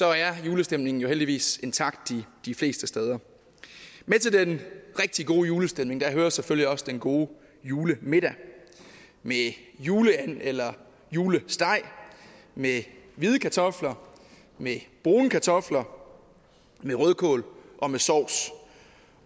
er julestemningen jo heldigvis intakt de fleste steder med til den rigtig gode julestemning hører selvfølgelig også den gode julemiddag med juleand eller julesteg med hvide kartofler med brune kartofler med rødkål og med sovs